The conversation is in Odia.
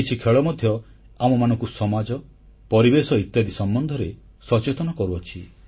କିଛି ଖେଳ ମଧ୍ୟ ଆମମାନଙ୍କୁ ସମାଜ ପରିବେଶ ଇତ୍ୟାଦି ସମ୍ବନ୍ଧରେ ସଚେତନ କରୁଛି